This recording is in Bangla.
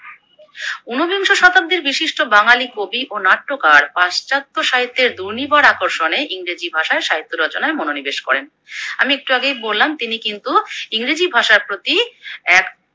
ঊনবিংশ শতাব্দীর বিশিষ্ট বাঙালি কবি ও নাট্যকার পাশ্চাত্য সাহিত্যের ডোনিবার আকর্ষণে ইংরেজি ভাষায় সাহিত্য রচনায় মনোনিবেশ করেন। আমি একটু আগেই বললাম তিনি কিন্তু ইংরেজি ভাষার প্রতি এক